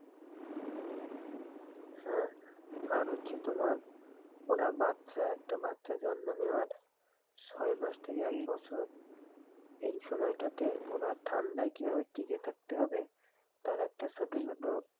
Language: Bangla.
হ্যাঁ, আর হচ্ছে তোমার ওরা বাচ্চা একটা বাচ্চা জন্ম নেওয়ার ছয় মাস থেকে এক বছর এই সময়টাতে ওরা ঠান্ডায় কিভাবে টিকে থাকতে হবে তার একটা ছোটো ছোট.